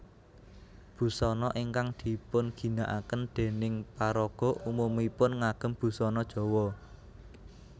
Busana ingkang dipunginakaken dèning paraga umumipun ngagem busana Jawa